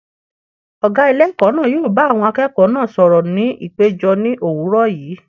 Ọ̀gá ilé ẹ̀kọ́ náà yóò bá àwọn akẹ́kọ̀ọ́ náà sọ̀rọ̀ ní ìpéjọ ní òwúrọ̀ yìí.